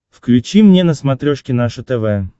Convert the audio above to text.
включи мне на смотрешке наше тв